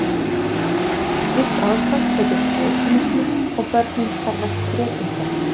Slíkt ástand heitir kretínismi og börnin kallast kretíndvergar.